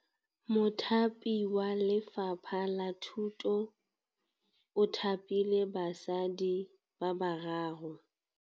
Mothapi wa Lefapha la Thutô o thapile basadi ba ba raro.